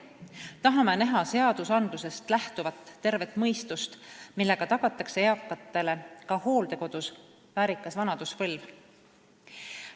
Tahame näha seadustest lähtuvat tervet mõistust, millega tagatakse eakatele ka hooldekodus väärikas vanaduspõlv.